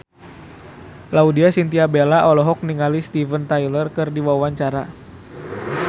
Laudya Chintya Bella olohok ningali Steven Tyler keur diwawancara